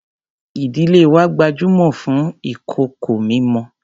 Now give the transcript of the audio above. Ìdílé wa gbajúmọ̀ fún ìkòkò mímọ.